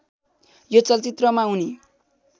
यो चलचित्रमा उनी